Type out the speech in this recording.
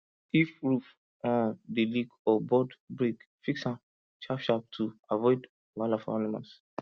if roof um dey leak or board break fix am sharp sharp to avoid wahala for animals